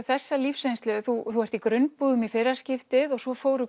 þessa lífsreynslu þú ert í grunnbúðum í fyrra skiptið og svo fóru